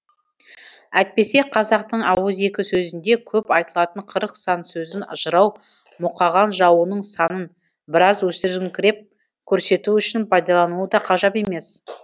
әйтпесе қазақтың ауызекі сөзінде көп айтылатын қырық сан сөзін жырау мұқаған жауының санын біраз өсіріңкіреп көрсету үшін пайдалануы да ғажап емес